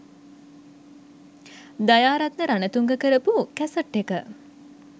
දයාරත්න රණතුංග කරපු කැසට් එක.